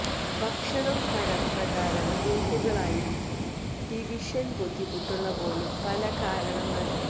ഭക്ഷണം തരം പ്രകാരം ഗ്രൂപ്പുകളായി ഡിവിഷൻ ബുദ്ധിമുട്ടുള്ള പോലും പല കാരണങ്ങൾ